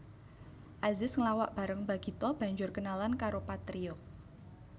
Azis nglawak bareng Bagito banjur kenalan karo Patrio